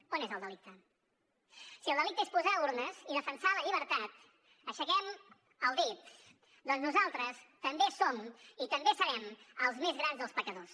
on és el delicte si el delicte és posar urnes i defensar la llibertat aixequem el dit perquè nosaltres també som i també serem els més grans dels pecadors